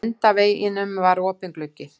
Á endaveggnum var opinn gluggi.